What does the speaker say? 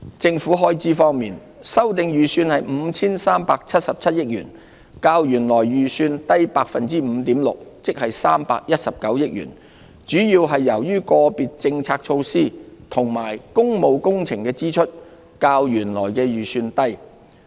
政府開支方面，修訂預算為 5,377 億元，較原來預算低 5.6%， 即319億元，主要是由於個別政策措施及工務工程的支出較原來預算低。